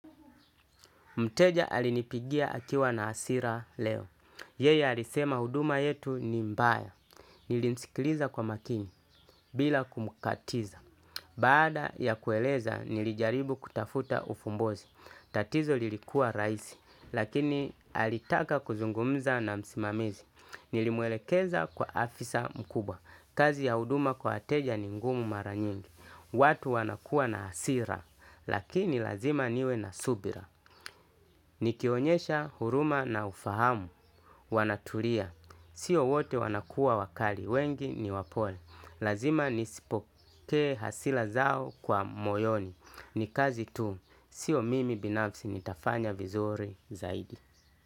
Mteja alinipigia akiwa na hasira leo Yeya alisema huduma yetu ni mbaya. Nilimsikiliza kwa makini bila kumkatiza. Baada ya kueleza nilijaribu kutafuta ufumbozi. Tatizo lilikuwa raisi. Lakini alitaka kuzungumza na msimamizi. Nilimwelekeza kwa afisa mkuba. Kazi ya huduma kwa wateja ni ngumu mara nyingi. Watu wanakuwa na hasira. Lakini lazima niwe na subira. Nikionyesha huruma na ufahamu Wanatulia. Sio wote wanakuwa wakali. Wengi ni wapole. Lazima nizipokee hasira zao kwa moyoni. Ni kazi tu. Sio mimi binafsi nitafanya vizuri zaidi.